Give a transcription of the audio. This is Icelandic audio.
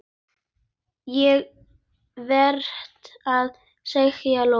Ég veit það, sagði Lóa.